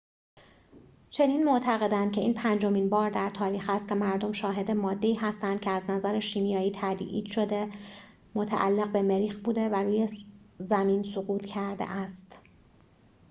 چنین معتقدند که این پنجمین بار در تاریخ است که مردم شاهد ماده‌ای هستند که از نظر شیمیایی تایید شده متعلق به مریخ بوده و روی زمین سقوط کرده است